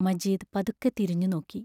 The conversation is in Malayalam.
മജീദ് പതുക്കെ തിരിഞ്ഞുനോക്കി.